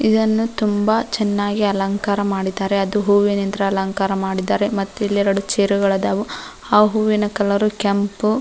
ಇದನ್ನು ತುಂಬ ಚೆನ್ನಾಗಿ ಅಲಂಕಾರ ಮಾಡಿದ್ದಾರೆ ಅದು ಹೂವಿನಿಂದ ಅಲಂಕಾರ ಮಾಡಿದ್ದಾರೆ ಮತ್ತಿಲ್ಲೆರಡು ಚೇರ್ಗಳ್ದಾವ ಆ ಹೂವಿನ ಕಲರ್ ಕೆಂಪು.